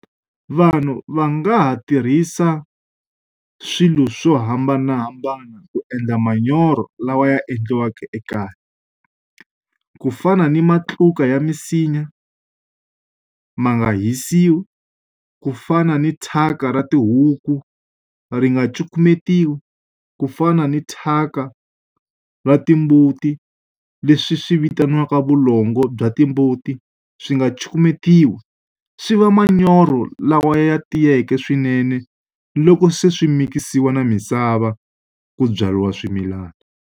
Vanhu va nga ha tirhisa swilo swo hambanahambana ku endla manyoro lawa ya endliwaka ekaya. Ku fana ni matluka ya misinya, ma nga hisiwi. Ku fana ni thyaka ra tihuku, ri nga cukumetiwi. Ku fana ni thyaka ra timbuti leswi swi vitaniwaka vulongo bya timbuti, swi nga cukumetiwi. Swi va manyoro lawa ya tiyeke swinene loko se swi mikisiwa na misava ku byariwa swimilana.